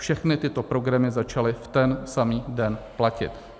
Všechny tyto programy začaly v ten samý den platit.